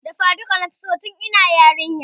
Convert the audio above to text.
Dafa duka nafi so tun ina yarinya